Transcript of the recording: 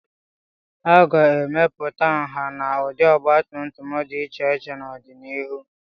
A ga-emepụta nha na ụdị ọgbatumtum dị iche iche n'ọdịnihu.